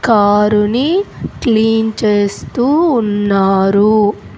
Car ని clean చేస్తూ ఉన్నారు.